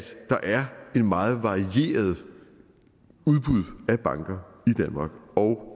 der er et meget varieret udbud af banker